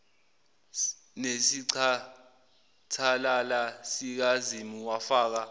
nesicathalala sikazimu wafaka